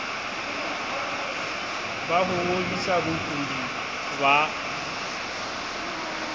ba ho ngodisa bokudi ba